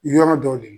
Yɔrɔ dɔw de la